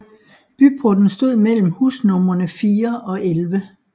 Byporten stod mellem husnumrene 4 og 11